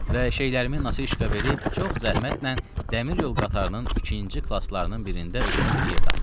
Və şeylərimi nasışka verib çox zəhmətlə dəmir yol qatarının ikinci klaslarının birində özümə bir yer tapdım.